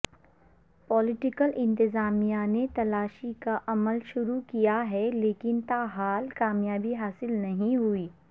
political انتظامیہ نے تلاشی کا عمل شروع کیا ہے لیکن تاحال کامیابی حاصل نہیں ہوئی